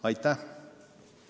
Aitäh!